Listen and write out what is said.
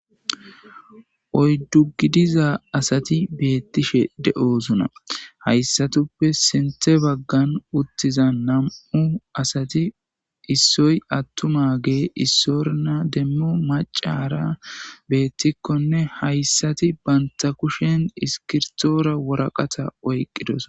oyddu gidiza asati beettishe de7oosona hayssatuppe sinthe baggan uttiza nam7u asati issoy attuma gee issorna demmu macara beettikkonne hayssati banta kushen iskirtoora woraqata oyqqidosona